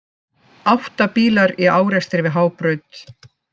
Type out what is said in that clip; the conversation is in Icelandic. Átta bílar í árekstri við Hábraut